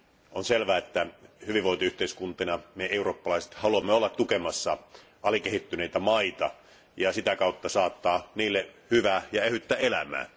On selvää, että hyvinvointiyhteiskuntina me eurooppalaiset haluamme olla tukemassa alikehittyneitä maita ja sitä kautta saattaa niille hyvää ja ehyttä elämää.